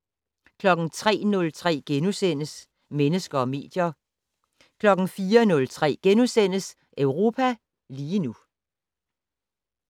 03:03: Mennesker og medier * 04:03: Europa lige nu *